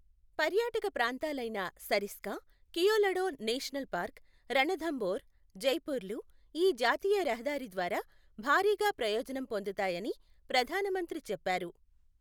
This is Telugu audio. పర్యాటక ప్రాంతాలైన సరిస్కా, కియోలడో నేషనల్ పార్క్, రణథంబోర్, జైపూర్ లు ఈ జాతీయ రహదారి ద్వారా భారీగా ప్రయోజనం పొందుతాయని ప్రధానమంత్రి చెప్పారు.